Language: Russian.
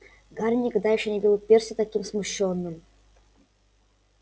гарри никогда ещё не видел перси таким смущённым